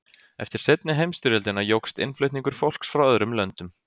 Eftir seinni heimsstyrjöldina jókst innflutningur fólks frá öðrum löndum.